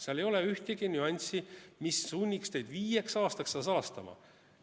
Seal ei ole ühtegi nüanssi, mis sunniks teid viieks aastaks seda salastama.